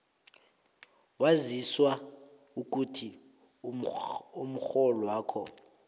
waziswa ukuthi umrholwakho